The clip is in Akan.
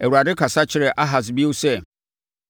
Awurade kasa kyerɛɛ Ahas bio sɛ,